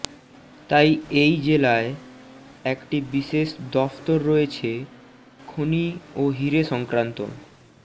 তাই এই জেলায় একটি বিশেষ দফতর রয়েছে খনি ও হিরে সংক্রান্ত